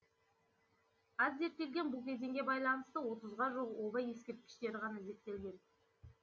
аз зерттелген бұл кезеңге байланысты отызға жуық оба ескерткіштері ғана зерттелген